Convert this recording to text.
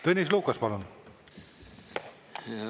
Tõnis Lukas, palun!